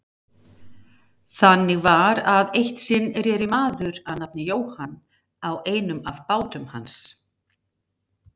Þannig var að eitt sinn reri maður að nafni Jóhann á einum af bátum hans.